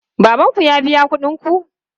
Baban ku ya biya kuɗin ku?